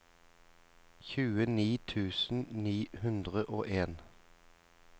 tjueni tusen ni hundre og en